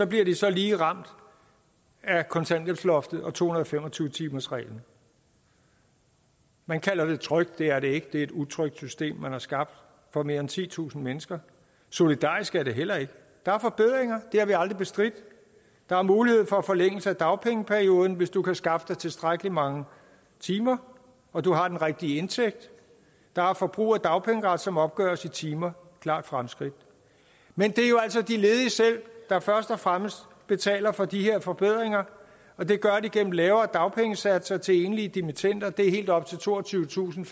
bliver de så lige ramt af kontanthjælpsloftet og to hundrede og fem og tyve timersreglen man kalder det trygt det er det ikke det er et utrygt system man har skabt for mere end titusind mennesker solidarisk er det heller ikke der er forbedringer det har vi aldrig bestridt der er mulighed for forlængelse af dagpengeperioden hvis du kan skaffe dig tilstrækkelig mange timer og du har den rigtige indtægt der er forbrug af dagpengeret som opgøres i timer klart fremskridt men det er jo altså de ledige selv der først og fremmest betaler for de her forbedringer og det gør de gennem lavere dagpengesatser til enlige dimittender det er helt op til toogtyvetusinde